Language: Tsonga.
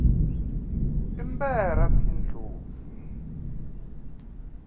i mberha p ndlovu